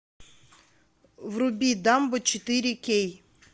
вруби дамбо четыре кей